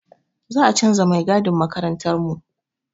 Za a canza mai gadin makarantarmu.